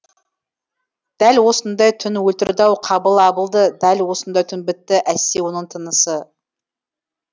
дәл осындай түн өлтірді ау қабыл абылды дәл осындай түн бітті әсте оның тынысы